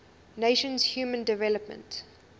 nations human development